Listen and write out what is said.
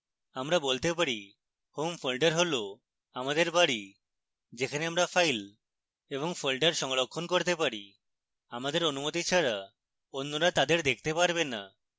আমরা বলতে পারি home folder হল আমাদের বাড়ি যেখানে আমরা files এবং folder সংরক্ষণ করতে পারি